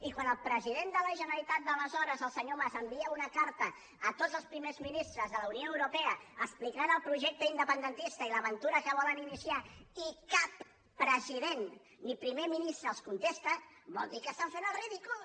i quan el president de la generalitat d’aleshores el senyor mas envia una carta a tots els primers ministres de la unió europea explicant el projecte independentista i l’aventura que volen iniciar i cap president ni primer ministre els contesta vol dir que estan fent el ridícul